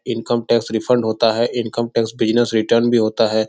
Income tax refund होता है income tax business return भी होता है।